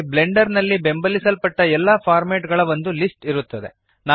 ಇಲ್ಲಿ ಬ್ಲೆಂಡರ್ ನಲ್ಲಿ ಬೆಂಬಲಿಸಲ್ಪಟ್ಟ ಎಲ್ಲ ಫಾರ್ಮ್ಯಾಟ್ ಗಳ ಒಂದು ಲಿಸ್ಟ್ ಇರುತ್ತದೆ